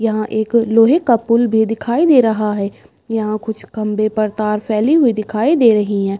यहां एक लोहे का पुल भी दिखाई दे रहा है। यहां कुछ खंबे पर तार फैली हुई दिखाई दे रही हैं।